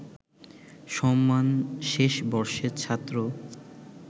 সম্মান শেষ বর্ষের ছাত্র